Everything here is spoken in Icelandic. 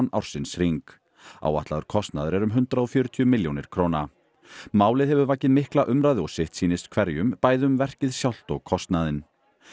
ársins hring áætlaður kostnaður er um hundrað og fjörutíu milljónir króna málið hefur vakið mikla umræðu og sitt sýnist hverjum bæði um verkið sjálft og kostnaðinn